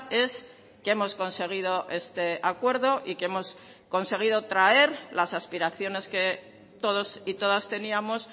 es que hemos conseguido este acuerdo y que hemos conseguido traer las aspiraciones que todos y todas teníamos